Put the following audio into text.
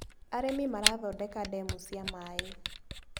Arĩmi marathondeka ndemu cia maĩ.